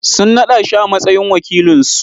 Sun naɗa shi a matsayin wakilinsu.